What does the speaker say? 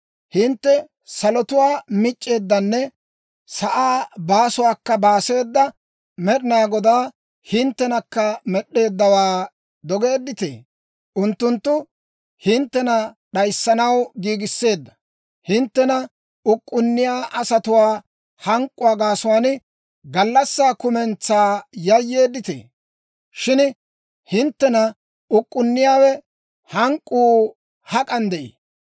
Hintte salotuwaa mic'c'eeddanne sa'aa baasuwaakka baaseeda Med'inaa Godaa, hinttenakka med'd'eeddawaa dogeedditee? Unttunttu hinttena d'ayissanaw giigisseedda, hinttena uk'k'unniyaa asatuwaa hank'k'uwaa gaasuwaan gallassaa kumentsaa yayyeeddita. Shin hinttena uk'k'unniyaawaa hank'k'uu hak'an de'ii?